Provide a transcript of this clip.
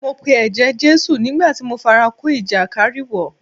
Mo pe ẹ̀jẹ̀ Jésù nígbà tí mo fara kó ìjàkárìwọ̀.